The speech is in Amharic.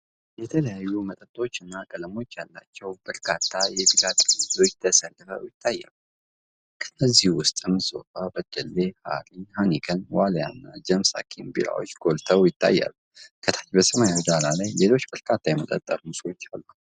የተለያዩ መጠኖችና ቀለሞች ያሏቸው በርካታ የቢራ ጠርሙሶች ተሰልፈው ይታያሉ። ከእነዚህ ውስጥ ሶፊ፣ በደሌ፣ ሃራ፣ ሃይኒከን፣ ዋሊያና ጀምስ ኃኪም ቢራዎች ጎልተው ይታያሉ። ከታች በሰማያዊ ዳራ ላይ ሌሎች በርካታ የመጠጥ ጠርሙሶች አሉ።